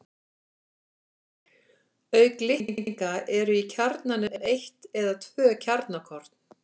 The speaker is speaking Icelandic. Auk litninga eru í kjarnanum eitt eða tvö kjarnakorn.